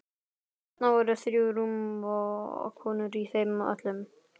Þarna voru þrjú rúm og konur í þeim öllum.